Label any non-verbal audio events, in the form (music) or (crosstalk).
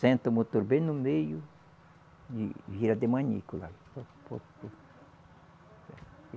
Senta o motor bem no meio e vira de manico lá. (unintelligible)